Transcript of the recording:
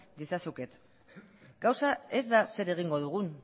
diezazuket gauza ez da zer egingo dugun